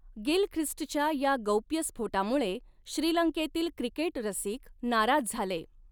गिलख्रिस्टच्या या गौप्यस्फोटामुळे श्रीलंकेतील क्रिकेट रसिक नाराज झाले.